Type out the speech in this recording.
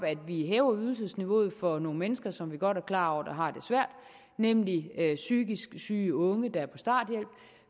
hæver ydelsesniveauet for nogle mennesker som vi godt er klar over har det svært nemlig psykisk syge unge der er på starthjælp